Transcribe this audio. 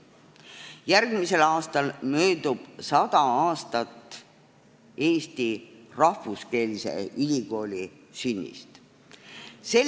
Järgmisel aastal möödub 100 aastat rahvuskeelse ülikooli sünnist Eestis.